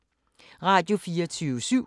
Radio24syv